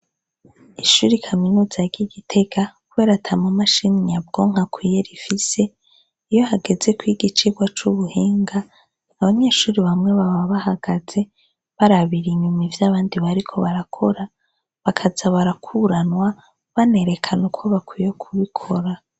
Ishure kaminuza ry'igitega kubera ata ma mashini nyabwonko akwiye rifise, iyo hageze kwiga icigwa c'ubuhinga, abanyeshure bamwe baba bahagaze, barabira inyuma ivyo abandi bariko barakora, bakaza barakuranwa, banerekana uko bakwiye kubikora.